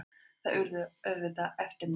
Það urðu auðvitað eftirmál.